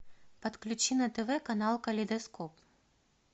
подключи на тв канал калейдоскоп